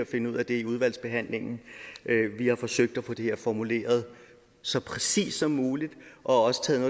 finde ud af det i udvalgsbehandlingen vi har forsøgt at få det her formuleret så præcist som muligt og også taget